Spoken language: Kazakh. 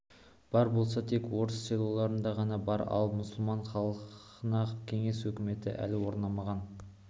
бар болса тек орыс селоларында ғана бар ал мұсылман халқына кеңес өкіметі әлі орнамаған